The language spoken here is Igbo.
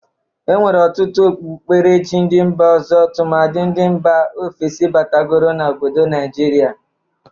E nwere ọtụtụ okpukperechi ndị mba ọzọ, tụmadị ndị mba ofesi batagoro n'obodo Naijiria.